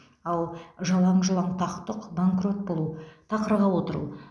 ал жалаң жұлаң тақ тұқ банкрот болу тақырға отыру